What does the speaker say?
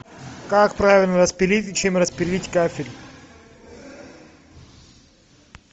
как правильно распилить и чем распилить кафель